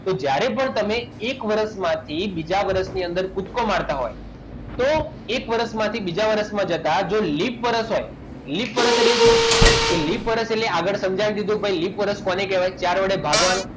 તો જ્યારે પણ તમે એક વર્ષમાંથી બીજા વર્ષમાં કૂદકો મારતા હોય તો એક વર્ષમાંથી બીજા વર્ષમાં જતા જો લિપ વર્ષ હોય લિપ વર્ષ એટલે શું તે લિપ વર્ષ એટલે આગળ તમને કહેવાય કે ચાર વડે ભાગવાનું